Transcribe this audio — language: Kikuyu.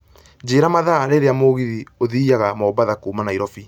njĩra mathaa rĩrĩa mũgithi ũthiĩyaga mombatha kuuma nairobi